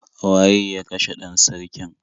Waye ya kashe 'dan sarkin?